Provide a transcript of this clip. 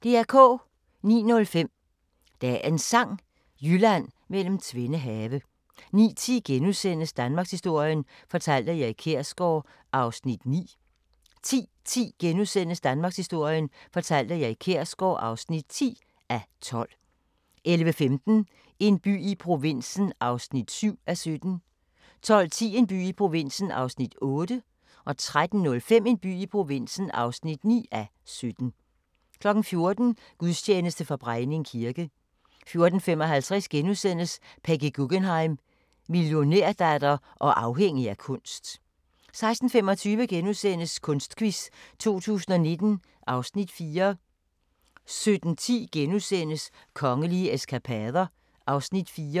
09:05: Dagens Sang: Jylland mellem tvende have 09:10: Danmarkshistorien fortalt af Erik Kjersgaard (9:12)* 10:10: Danmarkshistorien fortalt af Erik Kjersgaard (10:12)* 11:15: En by i provinsen (7:17) 12:10: En by i provinsen (8:17) 13:05: En by i provinsen (9:17) 14:00: Gudstjeneste fra Brejning kirke 14:55: Peggy Guggenheim - millionærdatter og afhængig af kunst * 16:25: Kunstquiz 2019 (Afs. 4)* 17:10: Kongelige eskapader (Afs. 4)*